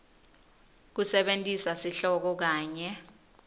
kusebentisa sihloko kanye